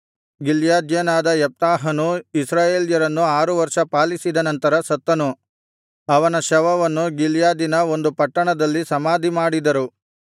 ಗಿಲ್ಯಾದ್ಯನಾದ ಯೆಪ್ತಾಹನು ಇಸ್ರಾಯೇಲ್ಯರನ್ನು ಆರು ವರ್ಷ ಪಾಲಿಸಿದ ನಂತರ ಸತ್ತನು ಅವನ ಶವವನ್ನು ಗಿಲ್ಯಾದಿನ ಒಂದು ಪಟ್ಟಣದಲ್ಲಿ ಸಮಾಧಿ ಮಾಡಿದರು